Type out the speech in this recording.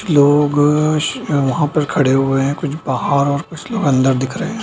लोग श वह पर खड़े हुए है कुछ बाहर और कुछ लोग अंदर दिख रहे हैं।